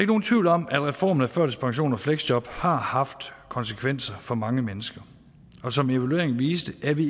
nogen tvivl om at reformen af førtidspension og fleksjob har haft konsekvenser for mange mennesker og som evalueringen viste er vi